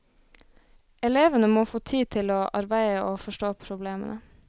Elevene må få tid til å arbeide og forstå problemene.